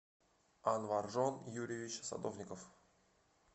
анваржон юрьевич садовников